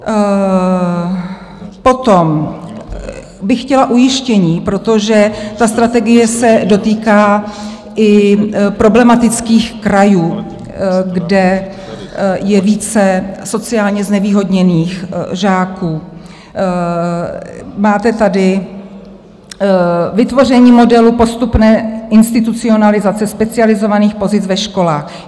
Potom bych chtěla ujištění, protože ta strategie se dotýká i problematických krajů, kde je více sociálně znevýhodněných žáků, máte tady "vytvoření modelu postupné institucionalizace specializovaných pozic ve školách".